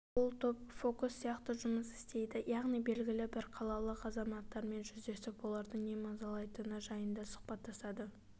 бұл топ фокус сияқты жұмыс істейді яғни белгілі бір қалалық азаматтармен жүздесіп оларды не мазалайтыны жайында сұхбаттасады